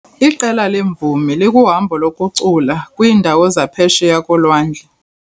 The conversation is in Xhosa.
Iqela leemvumi likuhambo lokucula kwiindawo zaphesheya kolwandle.